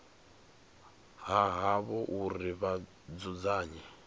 ha havho uri vha dzudzanye